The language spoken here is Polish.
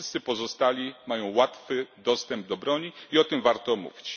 Wszyscy pozostali mają łatwy dostęp do broni i o tym warto mówić.